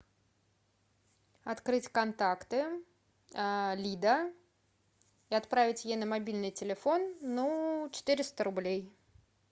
открыть контакты лида и отправить ей на мобильный телефон ну четыреста рублей